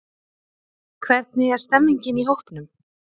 Hvernig er stemmingin í hópnum?